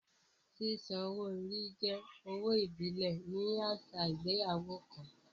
Sísan owó orí jẹ́ owó ìbílẹ̀ ní àṣà ìgbéyàwó kan